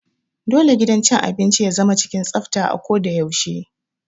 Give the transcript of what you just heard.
Dole gidan cin abinci ya zama cikin tsafta a ko da yaushe.